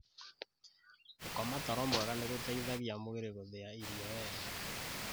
Gũkoma toro mwega nĩ gũteithagia mwĩrĩ gúthía irio wega.